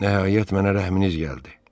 Nəhayət mənə rəhminiz gəldi.